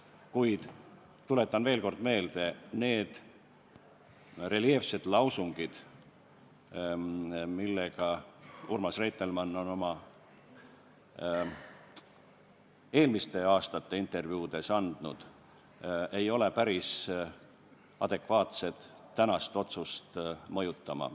Kuid tuletan veel kord meelde: need reljeefsed lausungid, mida Urmas Reitelmann on oma eelmiste aastate intervjuudes öelnud, ei ole päris adekvaatsed tänase otsuse mõjutamiseks.